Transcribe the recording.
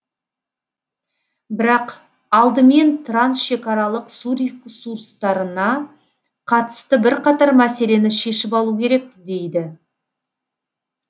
бірақ алдымен трансшекаралық су ресурстарына қатысты бірқатар мәселені шешіп алу керек дейді